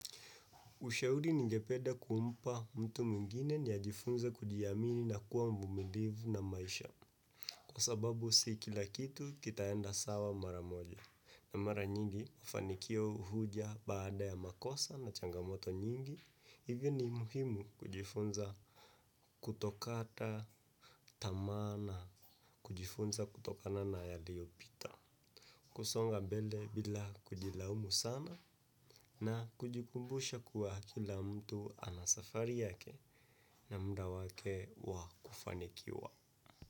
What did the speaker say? Ushauri ningependa kumpa mtu mwingine ni ajifunze kujiamini na kuwa mvumilivu na maisha. Kwa sababu si kila kitu kitaenda sawa mara moja. Na mara nyingi, ufanikio huja baada ya makosa na changamoto nyingi. Hivyo ni muhimu kujifunza kutokata tamaa na kujifunza kutokana na yaliyopita. Kusonga mbele bila kujilaumu sana na kujikumbusha kuwa kila mtu ana safari yake na muda wake wa kufanikiwa.